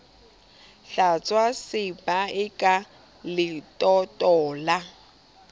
hlwatswa sebae ka letoto la